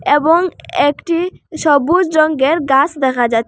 এবং একটি সবুজ রঙ্গের গাস দেখা যাচ--